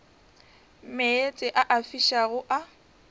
meetse a a fišago a